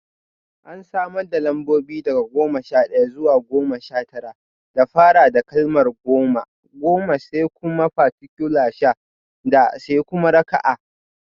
An samar da lambobi daga goma sha ɗaya zuwa goma sha tara da fara da kalmar goma (goma), sai kuma particule sha (da), sai kuma raka'a: